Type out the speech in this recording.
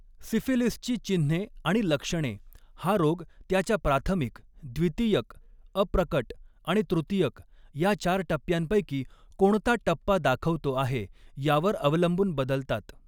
सिफिलिसची चिन्हे आणि लक्षणे, हा रोग त्याच्या प्राथमिक, द्वितीयक, अप्रकट आणि तृतीयक या चार टप्प्यांपैकी कोणता टप्पा दाखवतो आहे यावर अवलंबून बदलतात.